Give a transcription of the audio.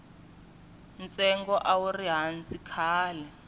ntsengo a wuri hansi khale